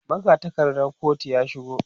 magatakardar kotun ya shigo